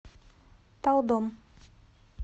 талдом